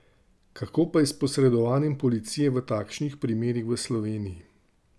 Kako pa je s posredovanjem policije v takšnih primerih v Sloveniji?